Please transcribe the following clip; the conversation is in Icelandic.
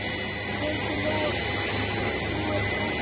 Breki Logason: Þú ert ósáttur?